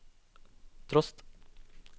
trost